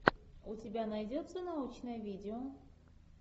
у тебя найдется научное видео